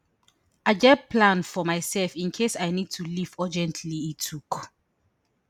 i get plan for mysef in case i need to leave urgently e tok